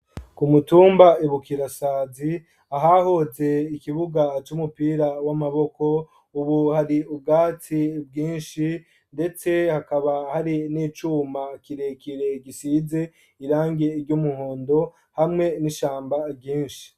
Ku mutumba ebuka irasazi ahahuze ikibuga c'umupira w'amaboko, ubu hari ubwatsi bwinshi, ndetse hakaba hari n'icuma kirekire gisize irangie iryo umuhondo hamwe n'ishamba ryinshi.